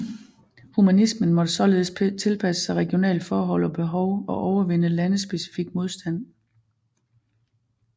Humanismen måtte således tilpasse sig regionale forhold og behov og overvinde landespecifik modstand